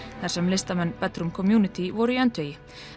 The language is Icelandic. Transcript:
þar sem listamenn community voru í öndvegi